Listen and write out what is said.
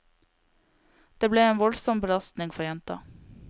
Det ble en voldsom belastning for jenta.